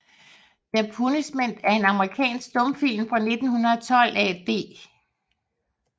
The Punishment er en amerikansk stumfilm fra 1912 af D